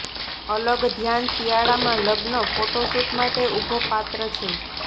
અલગ ધ્યાન શિયાળામાં લગ્ન ફોટો શૂટ માટે ઉભો પાત્ર છે